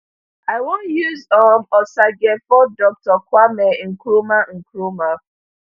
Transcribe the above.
i wan use um osagyefo dr kwame nkrumah nkrumah